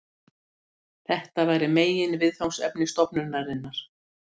Þetta væri meginviðfangsefni stofnunarinnar.